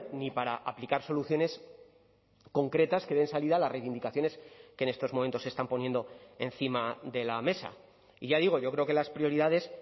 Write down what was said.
ni para aplicar soluciones concretas que den salida a las reivindicaciones que en estos momentos se están poniendo encima de la mesa y ya digo yo creo que las prioridades